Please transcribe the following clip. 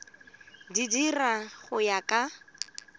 di dira go ya ka